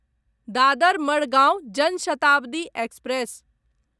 Dadar Madgaon Jan Shatabdi express